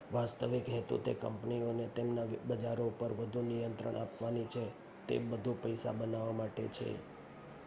વાસ્તવિક હેતુ તે કંપનીઓને તેમના બજારો પર વધું નિયંત્રણ આપવાનો છે તે બધું પૈસા બનાવવાં માટે છે